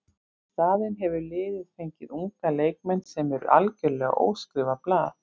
Í staðinn hefur liðið fengið unga leikmenn sem eru algjörlega óskrifað blað.